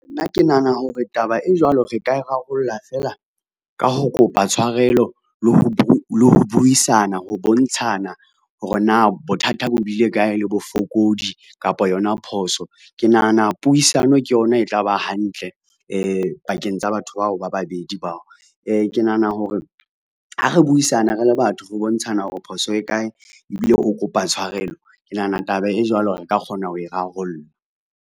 Nna ke nahana hore taba e jwalo re ka e rarollla fela ka ho kopa tshwarelo le ho buisana, ho bontshana hore na bothata bo bile kae le bofokodi kapa yona phoso. Ke nahana puisano ke yona e tla ba hantle pakeng tsa batho bao ba babedi bao, ke nahana hore ha re buisane re le batho re bontshana hore phoso e kae ebile o kopa tshwarelo, ke nahana taba e jwalo re ka kgona ho e rarolla.